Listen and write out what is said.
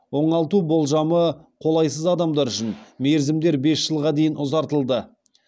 оңалту болжамы қолайсыз адамдар үшін мерзімдер бес жылға дейін ұзартылды